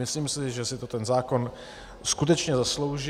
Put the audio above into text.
Myslím si, že si to ten zákon skutečně zaslouží.